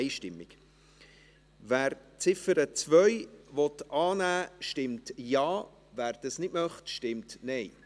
Wer die Ziffer 2 annehmen möchte, stimmt Ja, wer das nicht möchte, stimmt Nein.